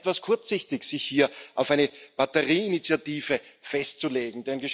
Es ist etwas kurzsichtig, sich hier auf eine Batterieinitiative festzulegen.